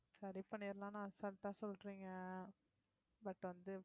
சரி பண்ணிறலாம்ன்னு அசால்டா சொல்றீங்க but வந்து